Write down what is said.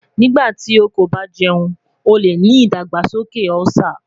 Nigbati o ko ba jẹun o le ni idagbasoke Ulcer